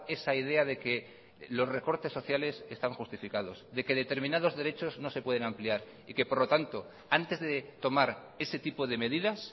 esa idea de que los recortes sociales están justificados de que determinados derechos no se pueden ampliar y que por lo tanto antes de tomar ese tipo de medidas